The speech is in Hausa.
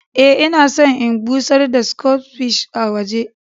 Eh, ina son in bushar da "stock fish " a waje.